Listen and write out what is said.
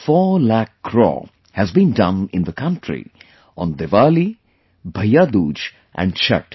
4 lakh crore has been done in the country on Diwali, BhaiyaDooj and Chhath